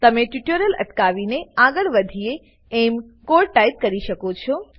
તમે ટ્યુટોરીયલ અટકાવીને આગળ વધીએ એમ કોડ ટાઈપ કરી શકો છો